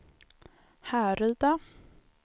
Härryda